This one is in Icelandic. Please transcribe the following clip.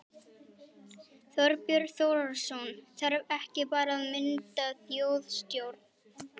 Þorbjörn Þórðarson: Þarf ekki bara að mynda þjóðstjórn?